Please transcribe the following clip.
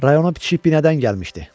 Rayona bitişik binədən gəlmişdi.